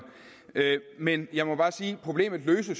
men jeg må bare sige at problemet